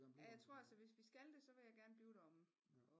Jeg tror altså hvis vi skal det så vil jeg gerne blive deromme